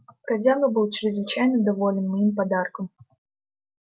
бродяга был чрезвычайно доволен моим подарком